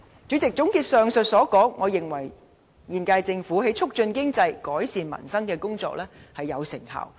主席，總結上述所說，我認為現屆政府在促進經濟、改善民生的工作有成效。